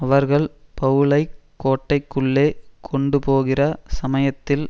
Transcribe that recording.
அவர்கள் பவுலைக் கோட்டைக்குள்ளே கொண்டுபோகிற சமயத்தில்